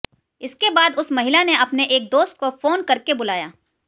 इसके बाद उस महिला ने अपने एक दोस्त को फोन करके बुलाया